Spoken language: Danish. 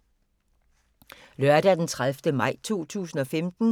Lørdag d. 30. maj 2015